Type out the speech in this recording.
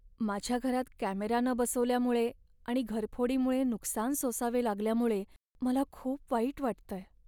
माझ्या घरात कॅमेरा न बसवल्यामुळे आणि घरफोडीमुळे नुकसान सोसावे लागल्यामुळे मला खूप वाईट वाटतंय.